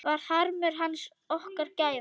Varð harmur hans okkar gæfa?